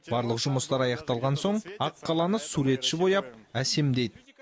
барлық жұмыстар аяқталған соң аққаланы суретші бояп әсемдейді